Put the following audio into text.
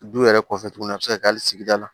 Du yɛrɛ kɔfɛ tuguni a bɛ se ka kɛ hali sigida la